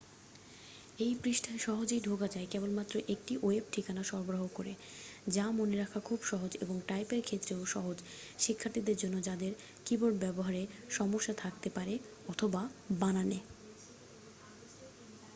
এই পৃষ্ঠায় সহজেই ঢোকা যায় কেবলমাত্র একটি ওয়েব ঠিকানা সরবরাহ করে যা মনে রাখা খুব সহজ এবং টাইপের ক্ষেত্রেও সহজ শিক্ষার্থীদের জন্য যাদের কিবোর্ড ব্যাবহারে সমস্যা থাকতে পারে অথবা বানানে